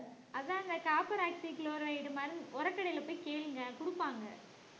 அதான் இந்த copper oxychloride மருந்~ உரக்கடையில போய் கேளுங்க கொடுப்பாங்க